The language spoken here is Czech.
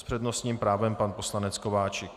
S přednostním právem pan poslanec Kováčik.